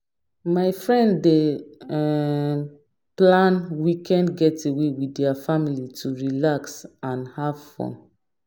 My friend dey um plan weekend getaway with their family to relax and have fun.